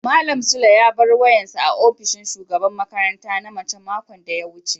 malam sule ya bar wayan sa a opishin shugaban makaranta na mace makon da ya wuce.